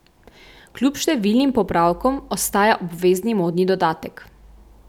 Kljub številnim popravkom ostaja obvezni modni dodatek.